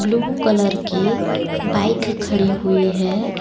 Blue colour की bike खड़ी हुई है।